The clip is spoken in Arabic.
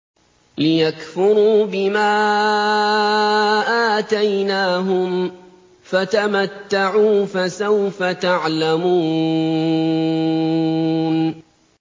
لِيَكْفُرُوا بِمَا آتَيْنَاهُمْ ۚ فَتَمَتَّعُوا ۖ فَسَوْفَ تَعْلَمُونَ